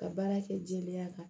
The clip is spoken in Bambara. Ka baara kɛ jeliya kan